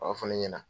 A b'a fɔ ne ɲɛna